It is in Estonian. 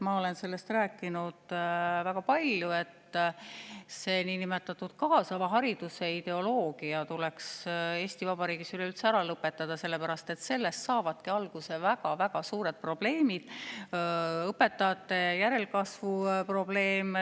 Ma olen sellest rääkinud väga palju, et see niinimetatud kaasava hariduse ideoloogia tuleks Eesti Vabariigis üleüldse ära lõpetada, sellepärast et sellest saavadki alguse väga-väga suured probleemid, ka õpetajate järelkasvu probleem.